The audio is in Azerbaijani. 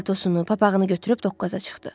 Paltosunu, papağını götürüb doqquza çıxdı.